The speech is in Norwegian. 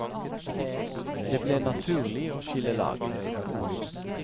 Det ble naturlig å skille lag.